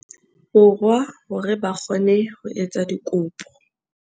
Borwa hore ba kgone ho etsa dikopo.